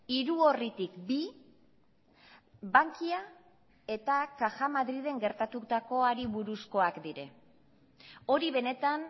hiru orritik bi bankia eta caja madrilen gertatutakoari buruzkoak dira hori benetan